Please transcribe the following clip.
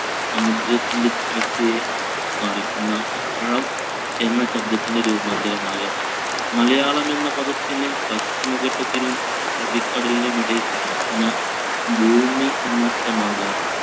സമുദ്രത്തിന്‍റെ താഴ്ചയെ കാണിക്കുന്ന ആഴം എന്ന ശബ്‌ദത്തിന്‍റെ രൂപാന്തരമായ . മലയാളം എന്ന പദത്തിന് പശ്ചിമഘട്ടത്തിനും അറബിക്കടലിനും ഇടക്ക് കിടക്കുന്ന ഭൂമി എന്ന അർത്ഥമാകാം.